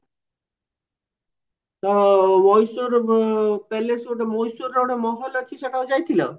ଆଉ ମଏଶ୍ଵରର ଗୋଟେ ମଏଶ୍ଵରର ଗୋଟେ ମହଲ ଅଛି ସେଟାକୁ ଯାଇଥିଲା